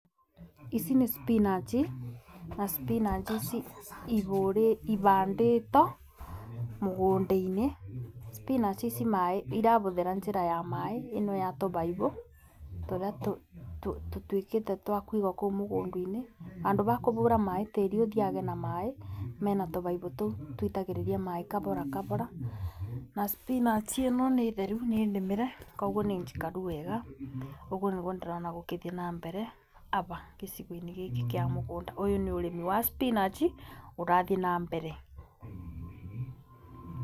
Ici nĩ spinach na spinach ici ibandĩtwo mũgũnda-inĩ, spinach ici maaĩ irabũthĩra njĩra ya maaĩ ĩno ya tũbaibu, tũrĩa tũtuĩkĩte twakũigwo kũu mũgũnda-inĩ. Bandũ ba kũbũra maaĩ tĩri ũthiage na maaĩ, mena tũbaibiu tũu tũitagĩrĩria maaĩ kabora kabora. Na spinach ĩno nĩ theru nĩ nĩmĩre, koguo nĩ njikaru wega. Ũguo nĩguo ndĩrona gũkĩthiĩ na mbere aba gĩcigo-inĩ gĩkĩ kĩa mũgũnda. Ũyũ nĩ ũrĩmi wa spinach ũrathiĩ na mbere.